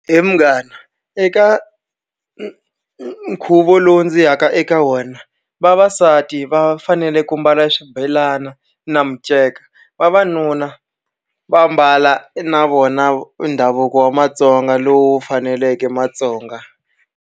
He munghana eka nkhuvo lowu ndzi yaka eka wena vavasati va fanele ku mbala swibelani na miceka vavanuna va mbala na vona ndhavuko wa Matsonga lowu faneleke Matsonga.